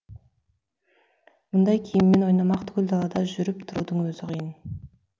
бұндай киіммен ойнамақ түгіл далада жүріп тұрудың өзі қиын